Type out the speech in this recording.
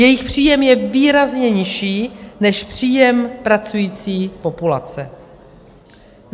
Jejich příjem je výrazně nižší než příjem pracující populace.